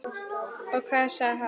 Og hvað sagði hann?